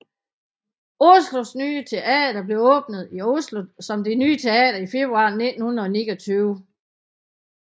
Oslo Nye Teater blev åbnet i Oslo som Det nye Teater i februar 1929